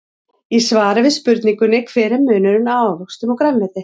Í svari við spurningunni Hver er munurinn á ávöxtum og grænmeti?